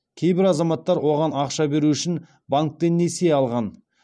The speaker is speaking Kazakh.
кейбір азаматтар оған ақша беру үшін банктен несие алған